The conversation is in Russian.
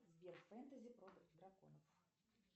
сбер фэнтези про драконов